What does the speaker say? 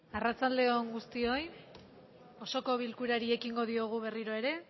arratsalde on guztioi osoko bilkurari ekingo diogu berriroere